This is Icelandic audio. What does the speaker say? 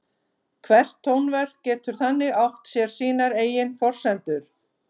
Hvert tónverk getur þannig átt sér sínar eigin forsendur.